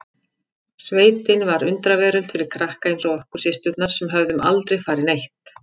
Sveitin var undraveröld fyrir krakka eins og okkur systurnar sem höfðum aldrei farið neitt.